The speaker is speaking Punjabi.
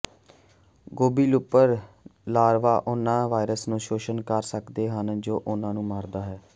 ਗੋਭੀ ਲੂਪਰ ਲਾਰਵਾ ਉਹਨਾਂ ਵਾਇਰਸ ਨੂੰ ਸ਼ੋਸ਼ਣ ਕਰ ਸਕਦੇ ਹਨ ਜੋ ਉਹਨਾਂ ਨੂੰ ਮਾਰਦਾ ਹੈ